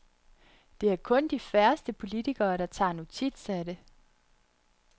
Det er kun de færreste politikere, der tager notits af det.